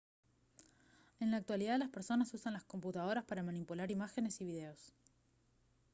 en la actualidad las personas usan las computadoras para manipular imágenes y videos